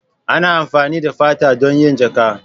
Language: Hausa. Ana amfani da fata don yin jaƙa.